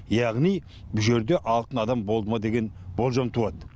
яғни бұл жерде алтын адам болды ма деген болжам туады